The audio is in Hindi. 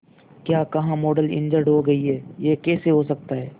क्या कहा मॉडल इंजर्ड हो गई है यह कैसे हो सकता है